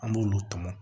An b'olu tɔmɔ